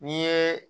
N'i ye